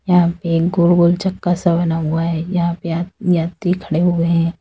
यहां पे एक गोल गोल चक्का सा बना हुआ है। यहां पे यात्री खड़े हुए हैं।